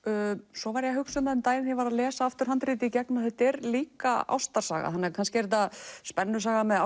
svo var ég að hugsa um það um daginn þegar ég var að lesa handritið að þetta er líka ástarsaga kannski er þetta spennusaga með